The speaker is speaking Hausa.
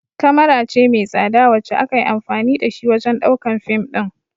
kamara ce mai tsada wacce akayi anfani da shi wajan ɗaukan fim ɗin